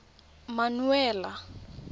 mmuela